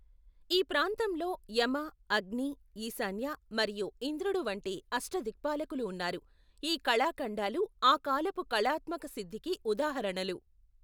ఈ ప్రాంతంలో యమ, అగ్ని, ఈశాన్య, మరియు ఇంద్రుడు వంటి అష్టాదిక్పాలకులు ఉన్నారు, ఈ కళాఖండాలు ఆ కాలపు కళాత్మక సిద్ధికి ఉదాహరణలు.